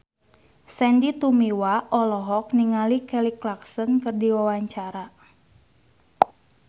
Sandy Tumiwa olohok ningali Kelly Clarkson keur diwawancara